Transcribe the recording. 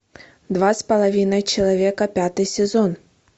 два с половиной человека пятый сезон